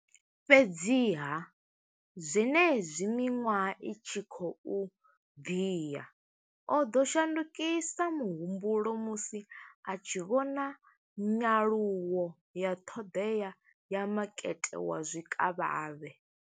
Fhedziha, zwenezwi miṅwaha i tshi khou ḓi ya, o ḓo shandukisa muhumbulo musi a tshi vhona nyaluwo ya ṱhoḓea ya makete wa zwikavhavhe.